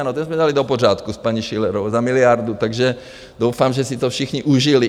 Ano, ten jsme dali do pořádku s paní Schillerovou za miliardu, takže doufám, že si to všichni užili.